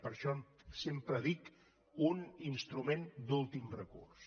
per això sempre dic un instrument d’últim recurs